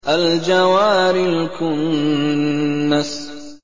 الْجَوَارِ الْكُنَّسِ